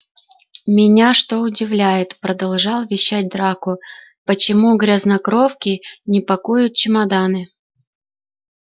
меня что удивляет продолжал вещать драко почему грязнокровки не пакуют чемоданы